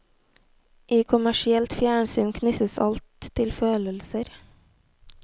I kommersielt fjernsyn knyttes alt til følelser.